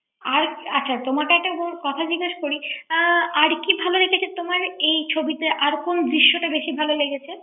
আর আচ্ছা তোমাকে একটা কথা জিজ্ঞেস করি আর কি ভালো লেগেছে তোমার এই ছবিতে আর কোনো দৃশ্যটা দেখে তোমার ভালো লেগেছে